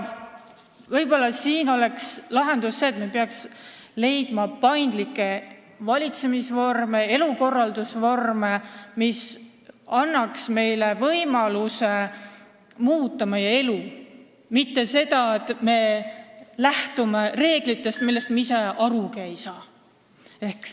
Võib-olla oleks lahendus see, kui me leiaks paindlikke valitsemisvorme, elukorraldusvorme, mis annaks rahvale võimaluse oma elu muuta, mitte ei sunniks inimesi lähtuma reeglitest, millest meie ise ka aru ei saa.